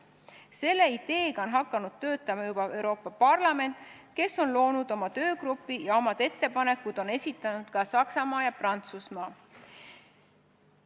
Selle ideega on hakanud juba töötama Euroopa Parlament, kes on loonud oma töögrupi, oma ettepanekud on esitanud ka Saksamaa ja Prantsusmaa.